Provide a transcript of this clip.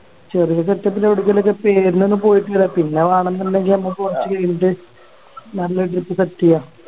ചെറിയ Setup ല് എവിടേക്കെലൊക്കെ പേരിനൊന്ന് പോയിട്ടില്ല പിന്നെ വേണന്നുണ്ടെങ്കിൽ നമ്മുക്ക് Actually ഇന്ത്യയിൽ നല്ല Trip ചെയ്യാ